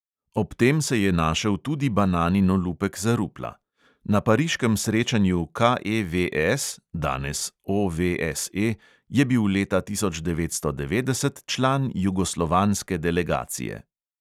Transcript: Ob tem se je našel tudi bananin olupek za rupla: na pariškem srečanju KEVS (danes OVSE) je bil leta tisoč devetsto devetdeset član jugoslovanske delegacije.